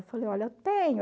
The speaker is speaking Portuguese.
Eu falei, olha, tenho.